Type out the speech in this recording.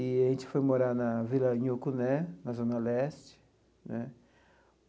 E a gente foi morar na Vila Nhocuné, na Zona Leste né.